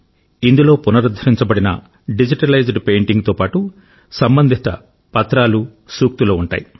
ఇందులో పునరుద్ధరించబడిన డిజిటలైజ్డ్ పెయింటింగ్తో పాటు సంబంధిత పత్రాలు సూక్తులు ఉంటాయి